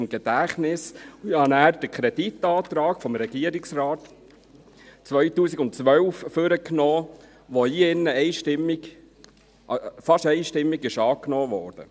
Ich nahm dann den Kreditantrag des Regierungsrates aus dem Jahr 2012 hervor, der hier in diesem Saal einstimmig … fast einstimmig angenommen wurde.